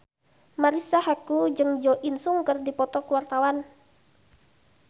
Marisa Haque jeung Jo In Sung keur dipoto ku wartawan